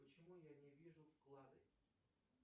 почему я не вижу вклады